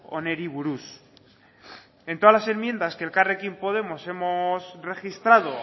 honi buruz en todas las enmiendas que elkarrekin podemos hemos registrado